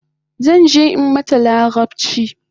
Zanje in mata larabchi